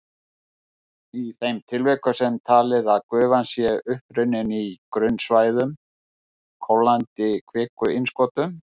Í þeim tilvikum er talið að gufan sé upprunnin í grunnstæðum kólnandi kvikuinnskotum.